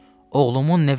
Oğlumun nəvecinə?